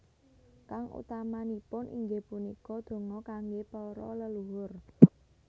Kang utamanipun inggih punika donga kangge para leluhur